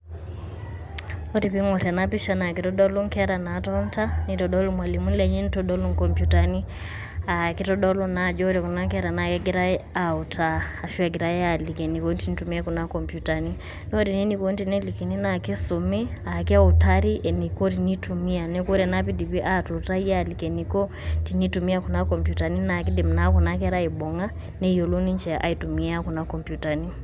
Ore piing'orr ena pisha nitodolu inkera naatonita, nitodolu irmalimuni lenye, nitodolu inkopyutani aa kitodolu naa ajo ore kuna kera naa kegirai autaa ashu egirai aaliki enikoni tenitumiyai kuna kompyutani. Ore naa enikoni tenelikini naa kisumi aa ekeutari eniko tenitumiaa, neeku ore naa piidipi aatuutai aliki eniko tenitumiaa kuna kompyutani naa kiidim naa kuna kera aaibung'a neyiolou ninche aitumia kuna kompyutani.